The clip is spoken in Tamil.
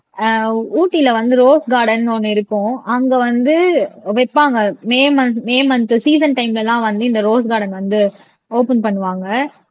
அஹ் ஊட்டியில வந்து ரோஸ் கார்டன்னு ஒண்ணு இருக்கும் அங்கே வந்து வைப்பாங்க May month May month season டைம்லலாம் வந்து இந்த ரோஸ் கார்டன் வந்து ஓப்பன் பண்ணுவாங்க